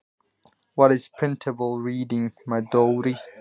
Hvað er prenthæft lesmál Dóri minn?